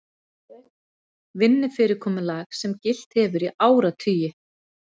Vinnufyrirkomulag sem gilt hefur í áratugi